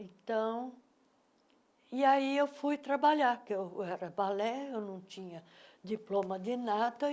Então, e aí eu fui trabalhar, porque eu era balé, eu não tinha diploma de nada.